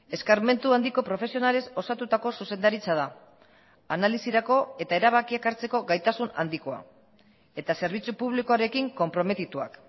eskarmentu handiko profesionalez osatutako zuzendaritza da analisirako eta erabakiak hartzeko gaitasun handikoa eta zerbitzu publikoarekin konprometituak